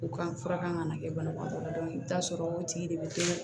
U ka fura kan ka na kɛ banabagatɔ la i bɛ taa sɔrɔ o tigi de bɛ to